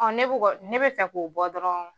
ne ko kɔ ne be fɛ k'o bɔ dɔrɔn